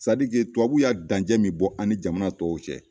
Tubabu ya dancɛ min bɔ an ni jamana tɔw cɛ